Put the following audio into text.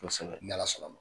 Kosɛbɛ. N'ala sɔnna ma.